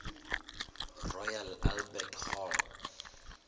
royal albert hall